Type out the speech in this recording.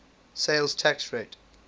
sales tax rate